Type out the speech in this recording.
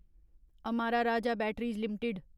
Amara Raja batteries limited